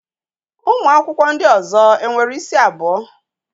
Ụmụ akwụkwọ ndị ọzọ e nwere isi abụọ?